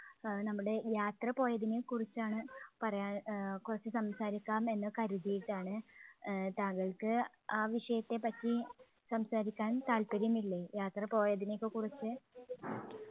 അഹ് നമ്മുടെ യാത്ര പോയതിനെക്കുറിച്ചാണ് പറയാൻ ആഹ് കുറച്ച് സംസാരിക്കാം എന്ന് കരുതിയിട്ടാണ്. ആഹ് താങ്കൾക്ക് ആ വിഷയത്തെപ്പറ്റി സംസാരിക്കാൻ താൽപ്പര്യമില്ലേ? യാത്ര പോയതിനെ ഒക്കെ കുറിച്ച്?